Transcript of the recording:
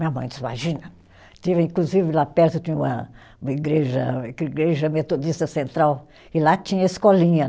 Minha mãe diz, imagina, de inclusive lá perto tinha uma uma igreja, igreja metodista central, e lá tinha escolinha